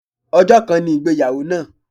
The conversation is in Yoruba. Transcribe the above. Ọjọ́ kan ni ìgbéyàwó náà.